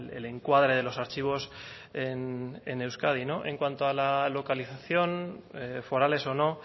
el encuadre de los archivos en euskadi en cuanto a la localización forales o no